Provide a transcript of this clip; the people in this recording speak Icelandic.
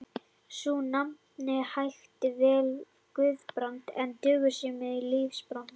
Sú nafnbót hæfði vel yfirbragði Guðbrands, en dugði skammt í lífsbaráttunni.